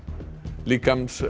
líkamsleifar